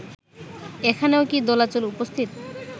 এখানেও কি দোলাচল উপস্থিত